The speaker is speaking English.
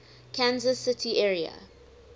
kansas city area